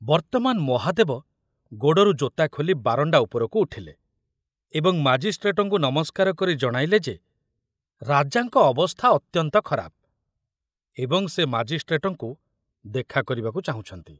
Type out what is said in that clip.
ବର୍ତ୍ତମାନ ମହାଦେବ ଗୋଡ଼ରୁ ଜୋତା ଖୋଲି ବାରଣ୍ଡା ଉପରକୁ ଉଠିଲେ ଏବଂ ମାଜିଷ୍ଟ୍ରେଟଙ୍କୁ ନମସ୍କାର କରି ଜଣାଇଲେ ଯେ ରାଜାଙ୍କ ଅବସ୍ଥା ଅତ୍ୟନ୍ତ ଖରାପ ଏବଂ ସେ ମାଜିଷ୍ଟ୍ରେଟଙ୍କୁ ଦେଖା କରିବାକୁ ଚାହୁଁଛନ୍ତି।